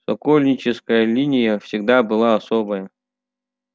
сокольническая линия всегда была особая